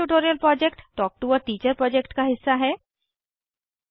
spoken tutorial project talk to a teacher project का हिस्सा है